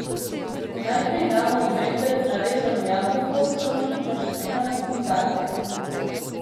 Najprej damo v blender narezano jabolko, sončnična semena in datlje.